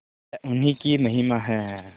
यह उन्हीं की महिमा है